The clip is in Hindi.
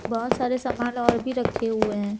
बहोत सारे सामान और भी रखे हुए हैं।